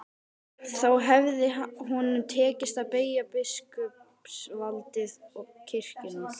Þá hefði honum tekist að beygja biskupsvaldið og kirkjuna.